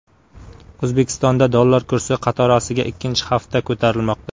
O‘zbekistonda dollar kursi qatorasiga ikkinchi hafta ko‘tarilmoqda.